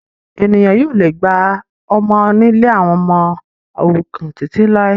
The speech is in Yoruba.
Ènìyàn yóò le gba ọmọ nílé àwọn ọmọ òrukàn títí làilái